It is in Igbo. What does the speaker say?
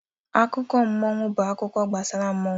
Akụkọ mmụọ bụ akụkọ gbasara mmụọ.